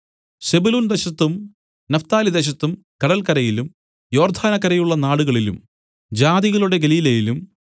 സെബൂലൂൻ ദേശത്തും നഫ്താലിദേശത്തും കടല്ക്കരയിലും യോർദ്ദാനക്കരെയുള്ള നാടുകളിലും ജാതികളുടെ ഗലീലയിലും